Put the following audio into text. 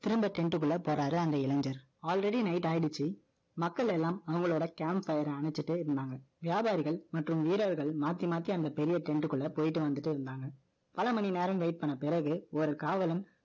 திரும்ப tent க்குள்ள போறாரு, அந்த இளைஞர். Already number உ ஆயிடுச்சு மக்கள் எல்லாம், அவங்களோட camp பயிரை அணைச்சிட்டு இருந்தாங்க. வியாபாரிகள் மற்றும் வீரர்கள், மாத்தி, மாத்தி, அந்த பெரிய trend க்குள்ள போயிட்டு, வந்துட்டு இருந்தாங்க. பல மணி நேரம், wait பண்ண பிறகு, ஒரு காவலன்,